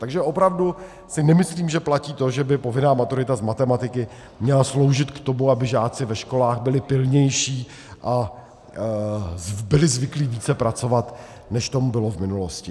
Takže opravdu si nemyslím, že platí to, že by povinná maturita z matematiky měla sloužit k tomu, aby žáci ve školách byli pilnější a byli zvyklí více pracovat, než tomu bylo v minulosti.